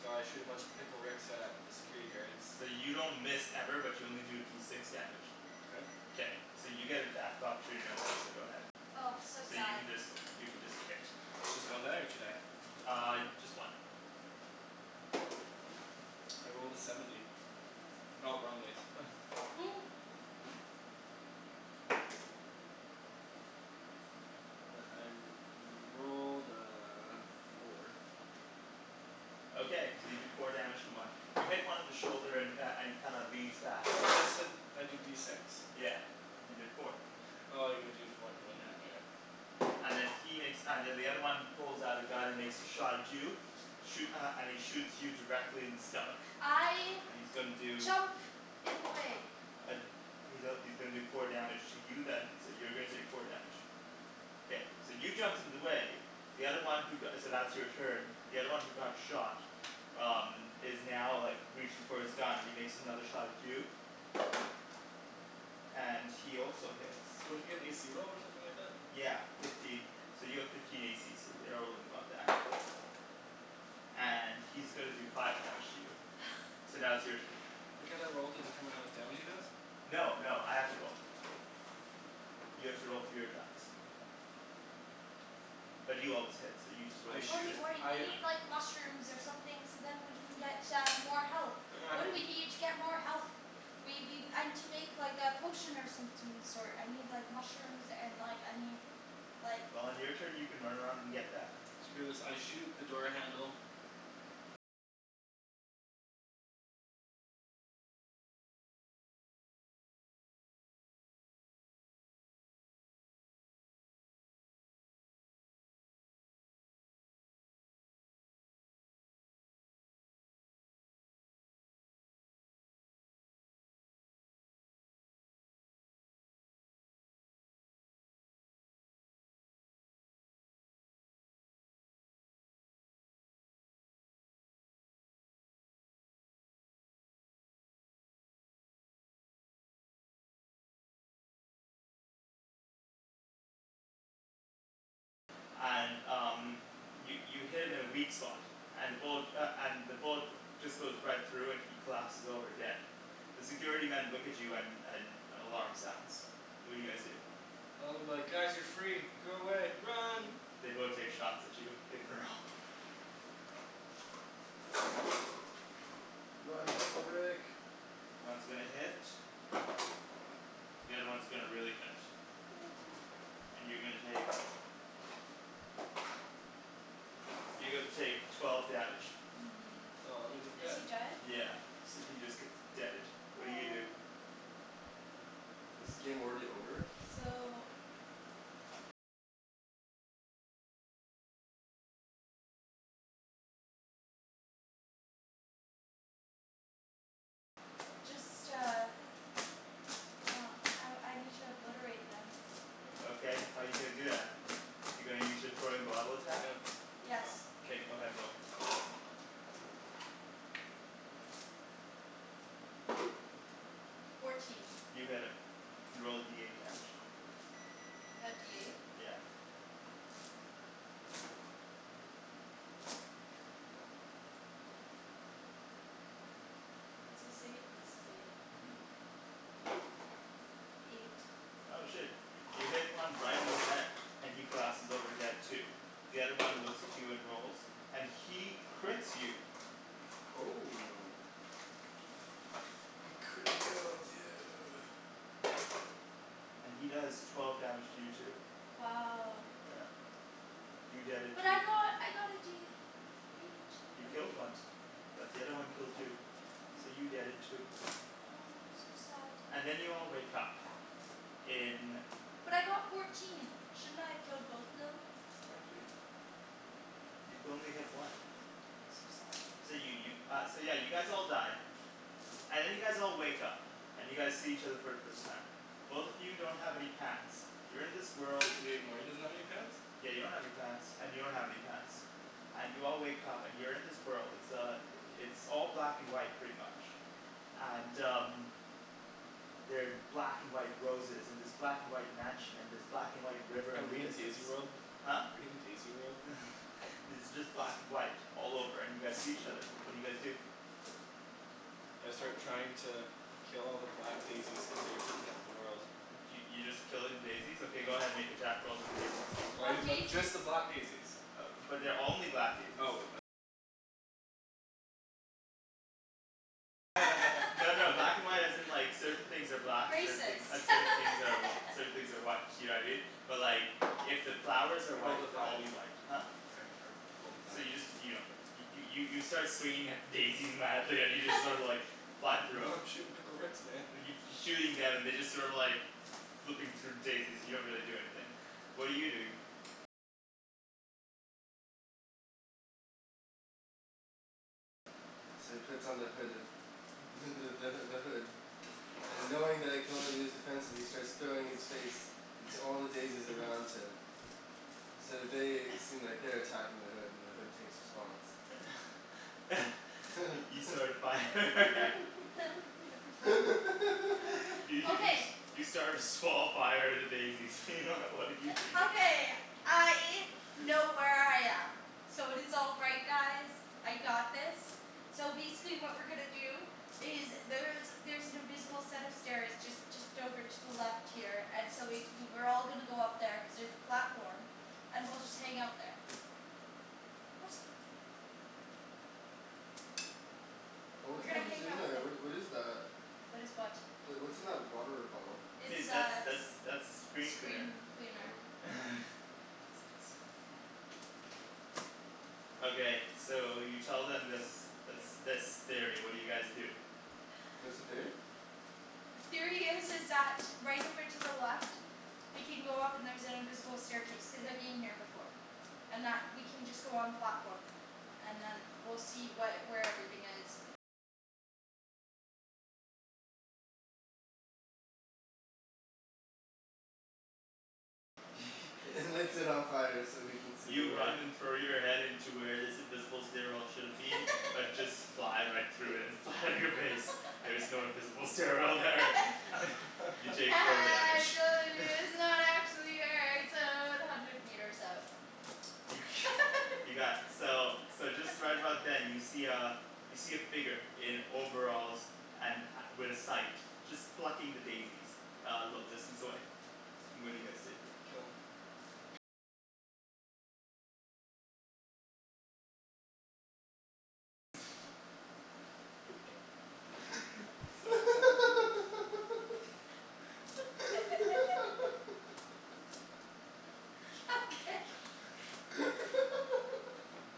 So I shoot a bunch of Pickle Ricks at the security guards. So you don't miss ever, but you only do D six damage. K. K, so you get attack of opportunity right now, so go ahead. Oh so So you sad. can just you can just hit. It's just one die or two die? Uh, just one. I rolled a seventy. Oh wrong dice. I rolled a four. Okay, so you do four damage to one. You hit one in the shoulder and uh and he kind of leans back. I thought you said I do D six. Yeah, you did four. Oh you gotta do for when Yeah. when oh yeah. And then he makes, and then the other one pulls out a gun and makes a shot at you. Shoo- uh, and he shoots you directly in the stomach. I And he's gonna do jump in the way. Uh he's a- he's gonna do four damage to you then, so you're gonna take four damage. Okay. K, so you jumped in the way, the other one who go- so that's your turn. The other one who got shot um is now like reaching for his gun and he makes another shot at you and he also hits. Don't I get an a c roll or something like that? Yeah, fifteen. So you have fifteen a c so you're And he's gonna do five damage to you. So now it's your turn. But can't I roll to determine how much damage he does? No, no, I have to roll. You have to roll for your attacks. But you always hit, so you just roll a I D shoot Morty, six. Morty we I need like mushrooms or something so then we can get uh more health. What do we need to get more health? We we, I need to make like a potion or something of the sort. I need like mushrooms and like I need like Well on your turn you can run around and get that. Screw this, I shoot the door handle And um, you you hit him in a weak spot, and the bullet uh and the bullet just goes right through and he collapses over dead. The security men look at you and and an alarm sounds. What do you guys do? Well I'm like "Guys you're free. Go away. Run!" They both take shots at you. Make a roll. Run, Pickle Rick! One's gonna hit. The other one's gonna really hit. And you're gonna take you're gonna take twelve damage. Hmm, Oh that means I'm is he dead. dead? Yeah, so he just gets deaded. What do you do? Aw. Is the game already over? No, So no. Um I I need to obliterate them. O okay, how're you gonna do that? You're gonna use your throwing bottle attack? Yes. Somethin' K, go ahead, roll. Fourteen. You hit him. You can roll a D eight damage. The D eight? Yeah. Is this eight? This is eight. Mhm. Eight. Oh shit. You hit one right in the head, and he collapses over dead too. The other one looks at you and rolls, and he crits you Oh. He criticaled you! and he does twelve damage to you too. Wow. Yeah. You deaded But too. I got I got a D H You out of killed one. eight. But the other one killed you. So Aw. you deaded too. Oh, so sad. And then you all wake up in But I got fourteen, shouldn't I have killed both of them? No dude. You could only hit one. So sad. So you you uh yeah so you guys all die. And then you guys all wake up, and you guys see each other for the first time. Both of you don't have any pants. You're in this world Wait, Morty doesn't have any pants? Yeah you don't have any pants and you don't have any pants. And you all wake up and you're in this world. It's uh it's all black and white pretty much. And um They're black and white roses and this black and white mansion and this black and white river Are in the we in distance. Daisy World? Huh? We in Daisy World? It's just black and white all over and you guys see each other. What do you guys do? I Um start trying to kill all the black daisies cuz they're heatin' up the world. Y- y- you just killing daisies? Okay go ahead, make attack rolls on the daisies. Why Why do you But just daisies? the black daisies. But they're only black daisies. No no black and white as in like certain things are black and certain Racist. thing uh certain things are certain things are white, you know what I mean? But like if the flowers are I rolled white, a they'll all five. be white. Huh? I I rolled a So five. you just you don't hit 'em. You you start swinging at the daisies madly and you just sorta like fly through Yo 'em. I'm shootin' Pickle Ricks man. And you f- you're shooting them and they're just sort of like flipping through daisies, they don't really do anything. What are you doing? So he puts on the hood of the the h- the hood. And knowing that it can only be used defensively he starts throwing his face into all the daisies around him. So they seem like they're attacking the hood and the hood takes response. You start a fire. Y- you s- Okay. you start a small fire at a daisy. What are you doing? Okay, I know where I am. So it is all right guys. I got this. So basically what we're gonna do is there's there's an invisible set of stairs just just over to the left here and so basically we're all gonna go up there cuz there's a platform. And we'll just hang out there. What? Oh what We're the gonna heck is hang in out there? the- What what is that? . What is what? The, what's in that water bottle? It's Dude, that's uh that's that's screen cleaner. screen cleaner. Oh. Okay, so you tell them this this this theory, what do you guys do? What's the theory? The theory is is that right over to the left we can go up and there's an invisible staircase, cuz I've been here before. And that we can just go on platform and then we'll see what, where everything is. And lights it on fire so we can see You the way. run and throw your head into where this invisible stairwell should've been, but just fly right through it and land on your face. There is no invisible stairwell there. You take Ha four ha damage I trolled you it's not actually here it's o- about hundred meters up. You got, so so just right about then you see uh you see a figure in overalls and ha- with a sight. Just plucking the daisies a little distance away. What do you guys do? Kill him. So bad dude. Okay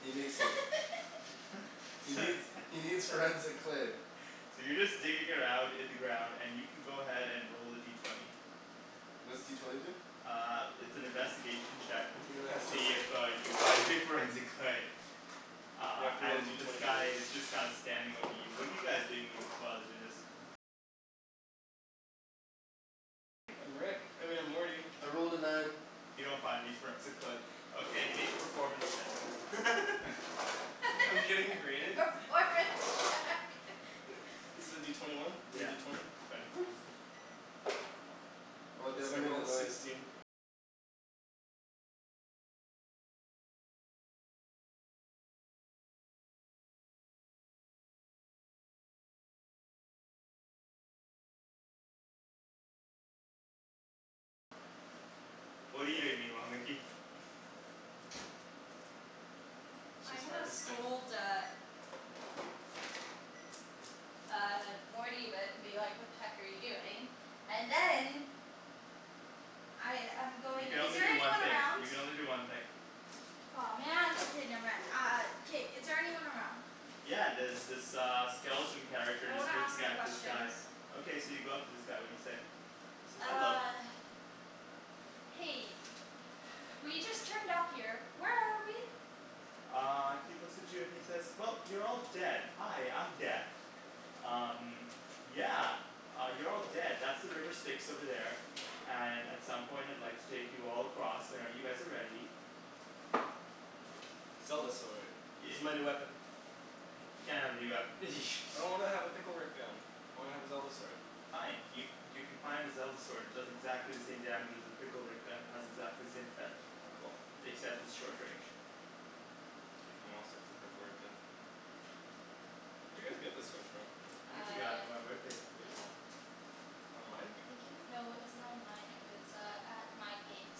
He nicks it. He needs he needs forensic clay. So you're just digging around in the ground and you can go ahead and roll a D twenty. What's D twenty do? Uh it's an investigation check You're gonna to have to ro- see if uh you find your forensic clay. You Uh have to roll and D this twenty for guy this. is just kind of standing over you. What are you guys doing mean- while he's doing this? I'm Rick. I mean I'm Morty. I rolled a nine. You don't find any forensic clay. Okay, make a performance check. I'm getting rated? Performance check Is it a D twenty one? Or a Yeah. D twenty? Twenty. Or they It's, haven't I made a rolled a noise. sixteen. What're you doing meanwhile, Nikki? I'm She's gonna harvesting. scold uh Uh Morty but and be like "What the heck are you doing?" And then I I'm You going, can is only there do one anyone thing. around? You can only do one thing. Aw man. Okay, never mind. Uh K, is there anyone around? Yeah, there's this uh skeleton character I just wanna ask looking him at this guy. questions. Okay, so you go up to this guy. What do you say? He says "Hello." Uh Hey, we just turned up here. Where are we? Uh he looks at you and he says "Well, you're all dead. Hi, I'm Death." "Um, yeah, you're all dead. That's the river Styx over there." "And at some point I'd like to take you all across, whenever you guys are ready." Zelda sword. This Yeah. is my new weapon. You can't have a new weapon. I don't wanna have a Pickle Rick gun. I wanna have a Zelda sword. Fine. Y- you can find a Zelda sword. It does exactly the same damage as your Pickle Rick gun, has exactly the same effect. Cool. Except it's short range. K, fine, I'll stick with the Pickle Rick gun. Where'd you guys get this sword from? Nikki got it Uh for my birthday couple years yeah. ago. Online? I think it w- no it wasn't online. It was uh at Mind Games.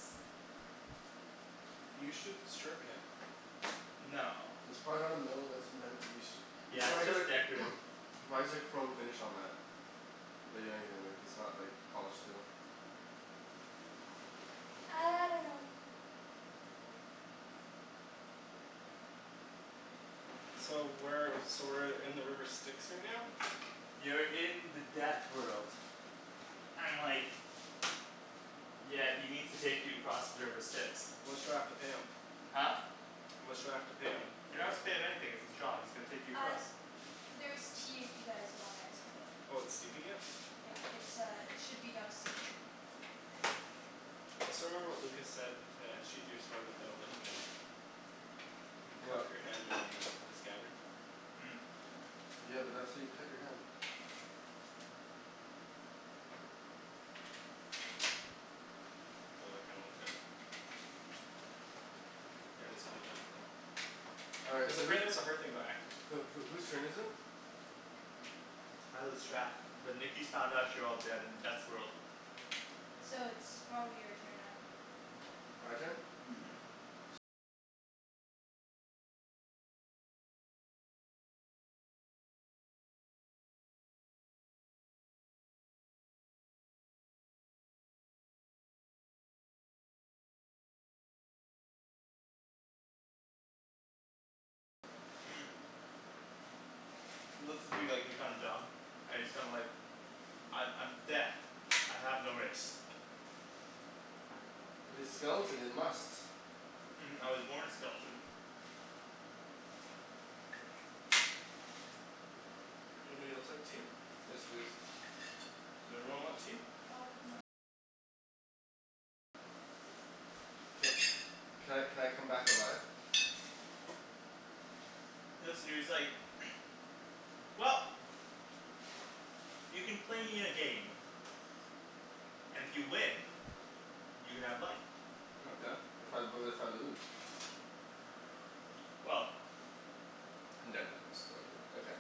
You should sharpen it. No. It's probably not a metal that's meant to be st- it's Yeah, probably it's got a just decorative. why is there chrome finish on that? Bet you anything that that's not like polished steel. I dunno. So where so we're in the river Styx right now? You're in the death world. And like Yeah, he needs to take you across the river Styx. How much do I have to pay him? Huh? How much do I have to pay him? Didn't have to pay him anything; it's his job. He's gonna take you Uh, across. there's tea if you guys want there as well. Oh it's steeping it? Yeah, it's uh it should be done steeping. I still remember what Lucas said to sheathe your sword without looking at it. You What? cup your hand around the the scabbard. Hmm? Yeah, but that's how you cut your hand. Oh I kinda looked that up. Yeah, that's kind of difficult. All right, Cuz so whose apparently that's a hard thing about acting. Who who whose turn is it? I lose track, but Nikki's found out you're all dead in Death's world. So it's probably your turn then. My turn? Mhm. Mhm. He looks at you like you're kinda dumb, and he's kinda like "I'm I'm Death. I have no race." But his skeleton, it must. "I was born a skeleton." Anybody else like tea? Yes, please. Does everyone want tea? Ca- can I can I come back alive? He looks at you he's like "Well, you can play me in a game, and if you win, you can have life. Okay. If I, but if I lose? Well I'm done, Daniel, I'm still good.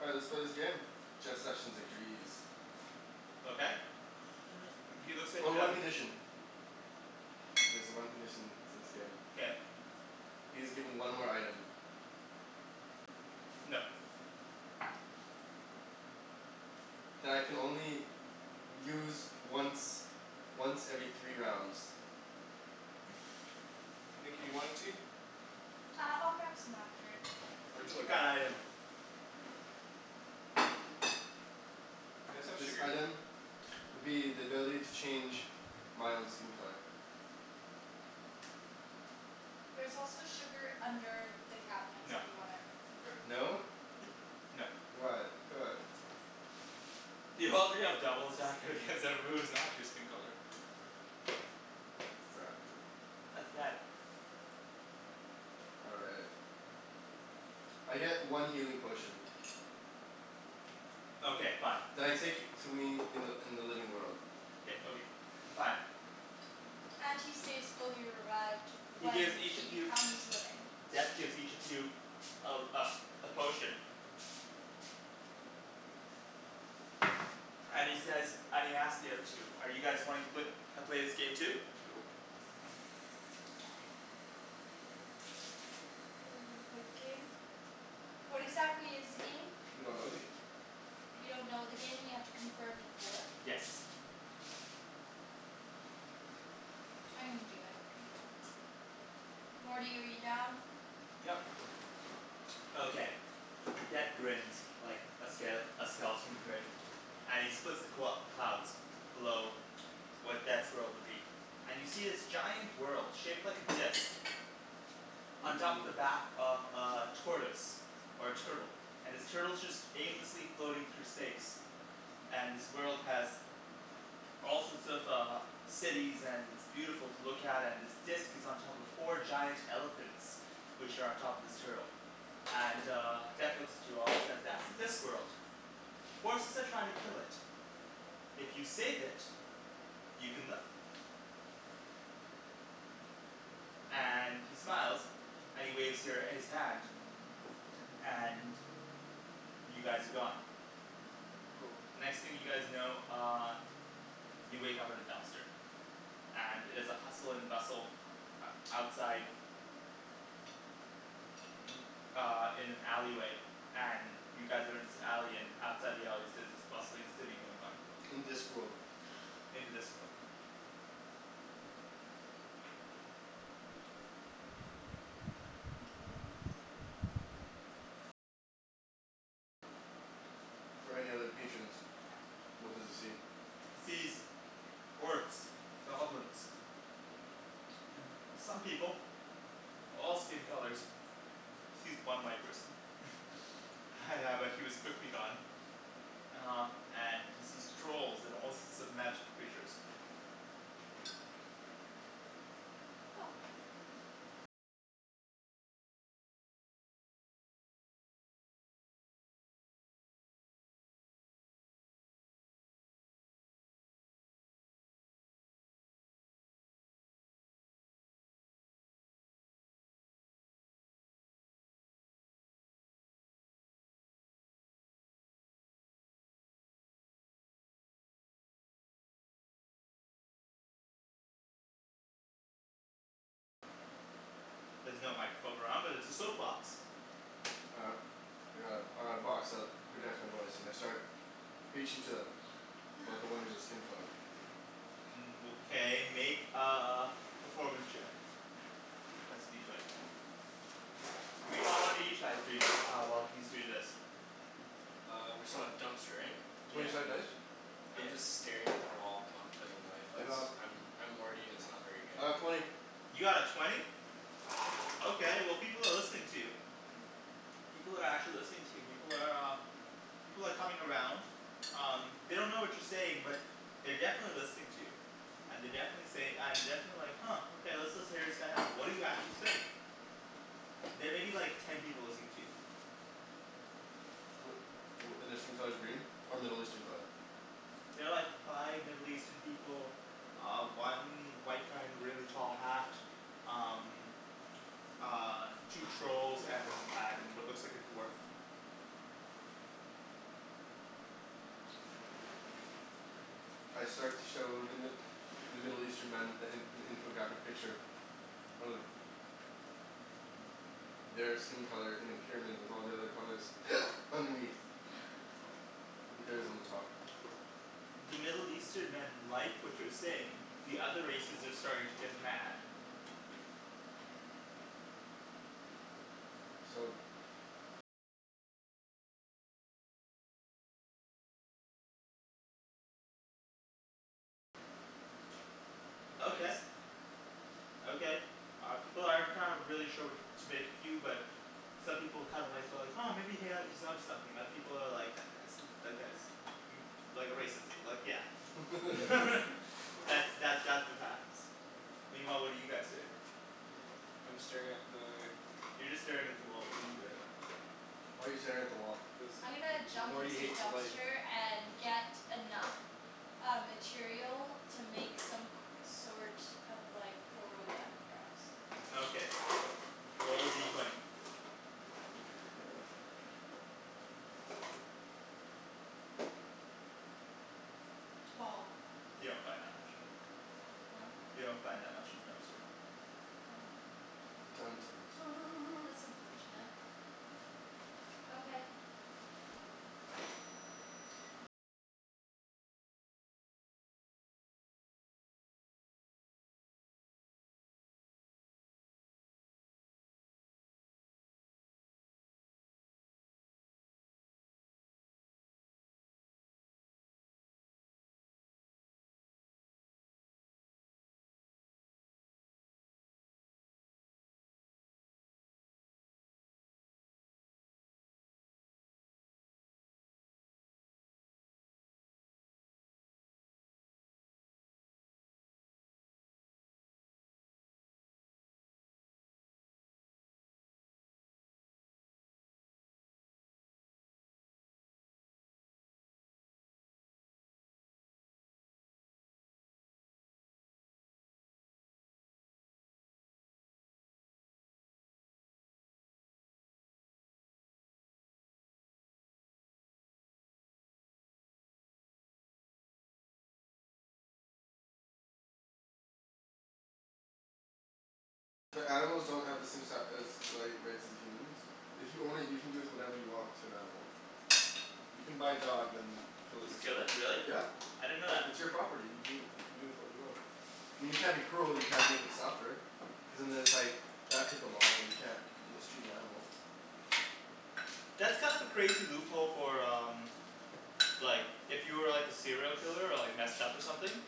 All right, let's play this game. Jeff Sessions agrees. Okay he looks at Oh, the one condition. There's a one condition to this game. Okay He is given one more item. No. That I can only use once once every three rounds. Nikki you want any tea? Uh I'll grab some after, it's okay. Thank Arjan? you What though. kinda item? Do you guys have This sugar? item would be the ability to change my own skin color. There's also sugar under the cabinets if No. you want it. Mkay. No? No. Why? Come on. You already have double attack against everybody who's not your skin color. Exactly. That's bad. All right. I get one healing potion. Okay fine. You That I take to me in the in the living world. K okay, fine. And he stays fully erect He when gives each he of you, becomes living. Death gives each of you a uh a potion and he says, and he asks the other two: "Are you guys wanting to pla- play this game too?" Are we gonna play the game? What exactly is the game? We don't know yet. We don't know the game and we have to confirm before? Yes. I'm gonna do it. Morty, are you down? Yep. Okay. Okay. Death grins like a ske- a skeleton would grin. And he splits the qu- the clouds below where Death's world would be, and you see this giant world shaped like a disc on top of Mmm. the back of a tortoise or a turtle, and this turtle's just aimlessly floating through space. And this world has all sorts of uh cities and it's beautiful to look at and this disc is on top of four giant elephants which are on top of this turtle. And uh Death Mkay. looks at you all and says "That's the Discworld." "Forces are trying to kill it. If you save it, you can live." And he smiles and he waves your his hand. And y- you guys are gone. Oh. The next thing you guys know uh you wake up at a dumpster. And it is a hustle and bustle outside uh in an alley way and you guys are in this alley and outside the alleys there's this bustling city going on. In Discworld. In the Discworld. Mkay. for any other patrons. What does he see? He sees orcs, goblins some people. All skin colors. Sees one white person. Yeah but he was quickly gone. Uh and he sees trolls and all sorts of magical creatures. There's no microphone around but there's a soap box. All right. I got a I got a box that projects my voice and I start preaching to them about the wonders of skin color. Okay make a performance check. That's a D twenty. Meanwhile what are you chais doing the uh while he's doing this? Uh we're still at dumpster right? Twenty Yeah. sided dice? I'm just staring at the wall contemplating life I cuz got I'm I'm Morty and it's not very good. I got twenty. You got a twenty? Okay well, people are listening to you. People are actually listening to you. People are uh People are coming around. Um, they don't know what you're saying but they're definitely listening to you. And they definitely say and definitely like "Huh okay, let's listen hear this guy out." What do you actually say? There may be like ten people listening to you. Wh- wh- and their skin color's green? Or Middle Eastern color? There are like five Middle Eastern people. Uh one white guy in a really tall hat. Um Uh two trolls and and what looks like a dwarf. I start to show the Mi- the Middle Eastern men a an an infographic picture of their skin color in a pyramid with all the other colors underneath. With theirs on the top. The Middle Eastern men like what you're saying. The other races are starting to get mad. So Okay. Okay, uh people aren't kind of really sure what to make of you but some people kind of like well like "Huh maybe he ha- he's onto something." Other people are like "That guy's i- that guy's" "like a racist, like yeah" That's that that's what happens. Meanwhile what are you guys doing? I'm staring at the You're just staring at the wall, what are you doing? Yeah. Why are you staring at the wall? Cuz M- I'm gonna M- M- jump Morty into the hates life. dumpster and get enough uh material to make some c- sort of like portal gun for us. Okay, roll a D twenty. Twelve. You don't find that much. Huh? You don't find that much in the dumpster. Oh. Dun dun dun That's unfortunate. Okay. But animals don't have the same si- as like rights as the humans If you own it, you can do with whatever you want to an animal. You can buy a dog then kill it Just kill yourself. it? Really? Yeah. I didn't know that. It's your property. You do you can do with what you want. I mean you can't be cruel. You can't make it suffer. Cuz and then it's like that type of law. You can't mistreat an animal. That's kind of a crazy loophole for um Like if you were like a serial killer or like messed up or something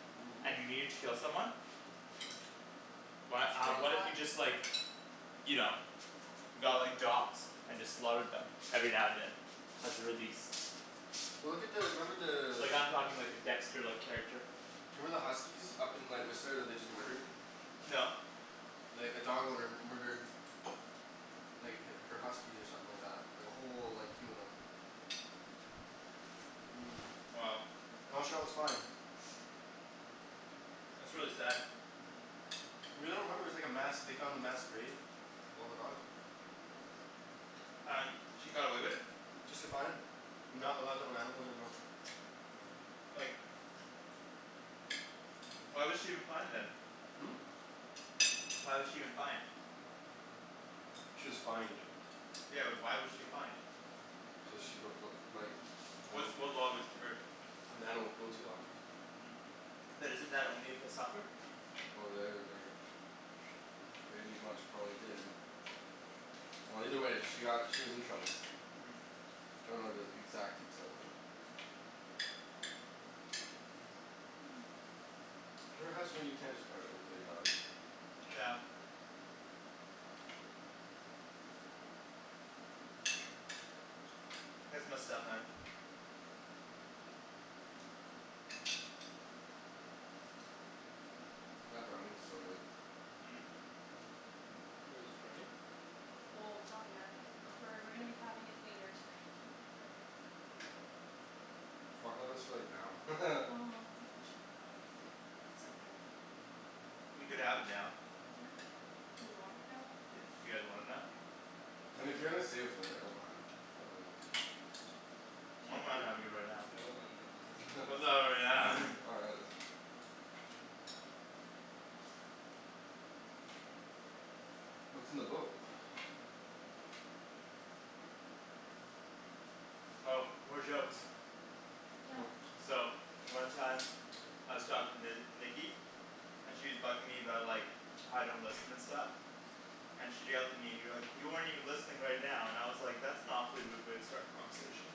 and you needed to kill someone. Why It's uh pretty what if hot. you just like you know, got like dogs and just slaughtered them every now and then as a release? Well look at the, remember Like the I'm talking like a dexter-like character. Do you remember the huskies up in like Whistler that they just murdered? No. Like a dog owner murdered like h- her huskies or something like that. Like a whole like team of them. Mmm. Wow. And all she got was fined. That's really sad. You really don't remember, it was like a mass, they found a mass grave of all the dogs? And he got away with it? Just get fined. And not allowed to own animals anymore. Like Why was she even fined then? Hmm? Why was she even fined? She was fined. Yeah but why was she fined? Cuz she broke the like Which anima- what law was she breaking The animal cruelty law. But isn't that only if they suffer? Well, they like pretty much probably did. Well either way she got, she was in trouble. I don't know the exact details of it. There has to be you can't just outright kill your dog. Yeah. That's messed up man. That brownie's so good. Wait, there's brownie? Well, it's not yet. Oh. We're we're gonna be having it later tonight. Oh I thought that was for like now. Oh unfortunately not. It's okay. We could have it now. Huh? Do we want it now? Yeah, you guys want it now? Mean if Kinda. you're gonna save it for later, I don't mind. But like I S'all don't mind cool. having it right now. Yeah, I don't mind havin' it right now. All right let's What's in the book? Oh, more jokes. Yeah. Oh. So one time I was talking to Nikki and she's bugging me about like how I don't listen and stuff. And she yelled at me and you're like "You aren't even listening right now" and I was like "That's an awfully rude way to start a conversation."